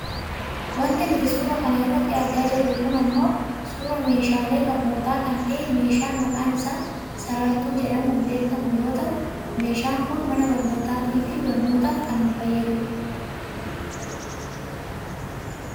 Wanti nuti suura kana irratti argaa jirru kun ammoo suuraa meehaalee barnootaa kan ta'e meeshaa mqaan isaa sarartuu jedhamuun beekkamu yoo ta'u meeshaan kun mana barnootaatifi barnootaaf kan nu fayyadudha.